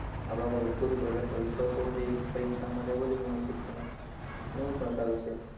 આપડા પપર ખુદ ઉપર કેટલો વિશ્વાસ હોવો જોઈએ, પરીક્ષામાં એ બધું પણ શીખવા મળે છે. Movie પણ સારું છે.